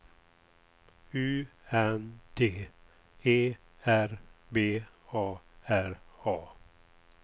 U N D E R B A R A